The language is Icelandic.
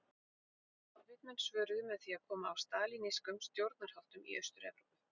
Sovétmenn svöruðu með því að koma á stalínískum stjórnarháttum í Austur-Evrópu.